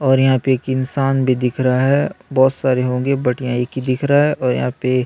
और यहां पर एक इंसान भी दिख रहा है बहुत सारे होंगे बट यह एक हि दिख रहा है और यहां पर--